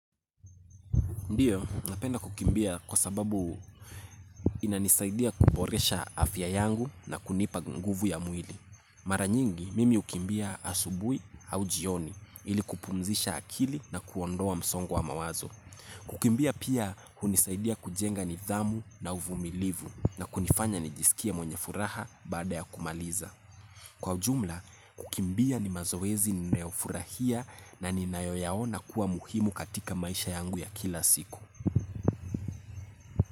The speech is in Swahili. Ndiyo, napenda kukimbia kwa sababu inanisaidia kuboresha afya yangu na kunipa nguvu ya mwili. Mara nyingi, mimi hukimbia asubuhi au jioni ili kupumzisha akili na kuondoa msongo wa mawazo. Kukimbia pia hunisaidia kujenga nidhamu na uvumilivu na kunifanya nijisikie mwenye furaha baada ya kumaliza. Kwa ujumla, kukimbia ni mazoezi ninayofurahia na ninayoyaona kuwa muhimu katika maisha yangu ya kila siku.